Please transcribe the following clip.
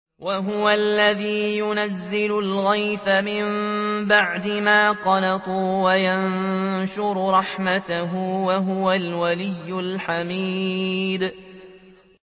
وَهُوَ الَّذِي يُنَزِّلُ الْغَيْثَ مِن بَعْدِ مَا قَنَطُوا وَيَنشُرُ رَحْمَتَهُ ۚ وَهُوَ الْوَلِيُّ الْحَمِيدُ